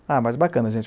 Ah, mas bacana, gente.